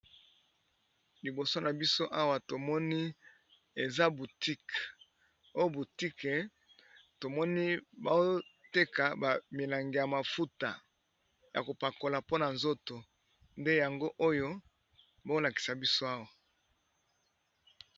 Liboso na biso awa tomoni eza butique o butique tomoni boteka bamilangi ya mafuta, ya kopakola mpona nzoto nde yango oyo bolakisa biso awa.